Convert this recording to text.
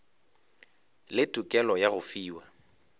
le tokelo ya go fiwa